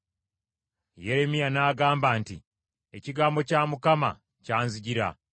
Yeremiya n’agamba nti, “Ekigambo kya Mukama kyanzijira: